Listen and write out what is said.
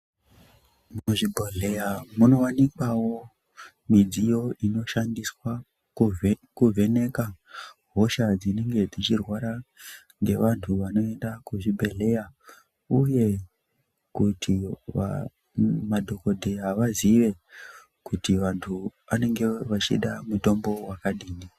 Muzvibhedhleya munowanikwawo midziyo inoshandiswa kuvheneka hosha dzinenge dzichirwara ngevantu vanoenda kuzvibhedhleya uye kuti madhokodheya vazive kuti vantu anenge vachida mutombo wakadini.